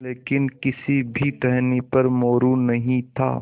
लेकिन किसी भी टहनी पर मोरू नहीं था